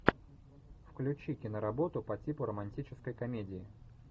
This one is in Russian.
включи киноработу по типу романтической комедии